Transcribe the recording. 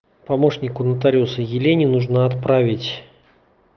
помощнику нотариуса елене нужно отправить